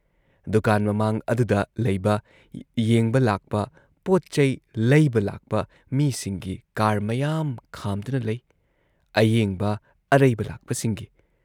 ꯗꯨꯀꯥꯟ ꯃꯃꯥꯡ ꯑꯗꯨꯗ ꯂꯩꯕ ꯌꯦꯡꯕ ꯂꯥꯛꯄ ꯄꯣꯠ‑ꯆꯩ ꯂꯩꯕ ꯂꯥꯛꯄ ꯃꯤꯁꯤꯡꯒꯤ ꯀꯥꯔ ꯃꯌꯥꯝ ꯈꯥꯝꯗꯨꯅ ꯂꯩ, ꯑꯌꯦꯡꯕ, ꯑꯔꯩꯕ ꯂꯥꯛꯄꯁꯤꯡꯒꯤ ꯫